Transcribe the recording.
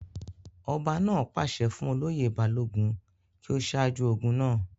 ọba náà pàṣẹ fún olóyè balógun kí ó sáájú ogun náà